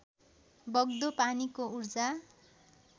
बग्दो पानीको ऊर्जा